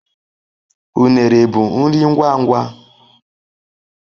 Unere bụ nri ngwa ngwa.